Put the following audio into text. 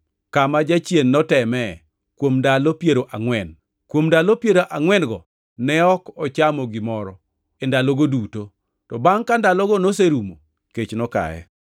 kama jachien notemee kuom ndalo piero angʼwen. Kuom ndalo piero angʼwen-go ne ok ochamo gimoro e ndalogo duto, to bangʼ ka ndalogo noserumo kech nokaye.